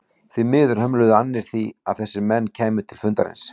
Því miður hömluðu annir því að þessir menn kæmu til fundarins.